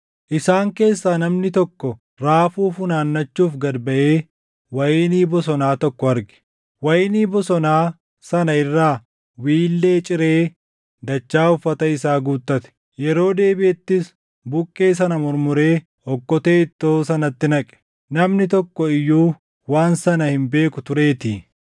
Isaan keessaa namni tokko raafuu funaannachuuf gad baʼee wayinii bosonaa tokko arge. Wayinii bosonaa sana irraa wiillee ciree dachaa uffata isaa guuttate. Yeroo deebiʼettis buqqee sana murmuree okkotee ittoo sanatti naqe. Namni tokko iyyuu waan sana hin beeku tureetii.